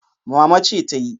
Mama ce tayi.